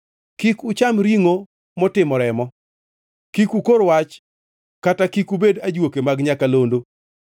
“ ‘Kik ucham ringʼo motimo remo. “ ‘Kik ukor wach kata kik ubed ajuoke mag nyakalondo.